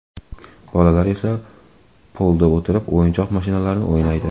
Bolalar esa polda o‘tirib, o‘yinchoq mashinlarni o‘ynaydi.